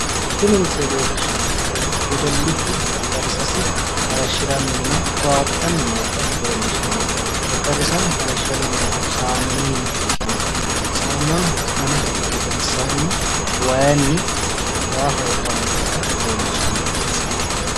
Tini misile leellishshannonkehu wedellichu xexxerrisasi hayiishshirannina toyaaxxanni noota leellishshanno xexxerrisano hayiishshanni noohu saamununni ikkinota saamunano gane ka"ihu gedensaanni waayiinni waa hoo'lanni noota leellishshanno misileeti